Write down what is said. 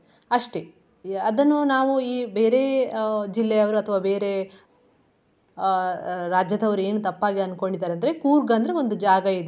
ಅಷ್ಟೇ ಅದನ್ನು ನಾವು ಈ ಬೇರೆ ಅಹ್ ಜಿಲ್ಲೆಯವರು ಅಥವಾ ಬೇರೆ ಅಹ್ ರಾಜ್ಯದವ್ರ್ ಏನ್ ತಪ್ಪಾಗಿ ಅನ್ಕೊಂಡಿದಾರೆ ಅಂದ್ರೆ ಕೂರ್ಗ್ ಅಂದ್ರೆ ಒಂದು ಜಾಗಯಿದೆ.